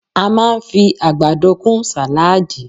A máa fi àgbàdo kún sàláàdì